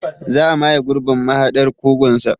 Za a maye gurbin mahaɗar kugunsa.